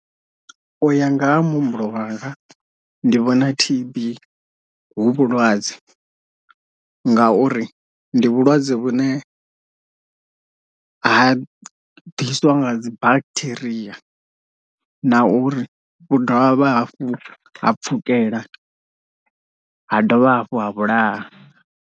Uya nga ha muhumbulo wanga ndi vhona T_B hu vhulwadze ngauri ndi vhulwadze vhune ha ḓiswa nga dzi bacteria na uri vhu dovha hafhu ha pfhukela ha dovha hafhu ha vhulaha.